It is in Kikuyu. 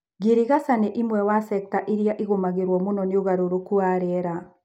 Girigaca nĩimwe wa secta irĩa cigũmagĩrwo mũno nĩũgarũrũku wa rĩera.